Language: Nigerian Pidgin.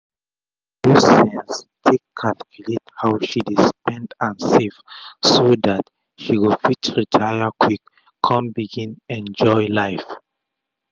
she use sense take calculate how she dey spend and save so dat she go fit retire quick kon begin enjoy life